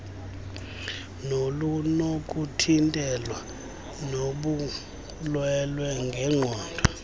nolunokuthintelwa lobulwelwe ngenqondo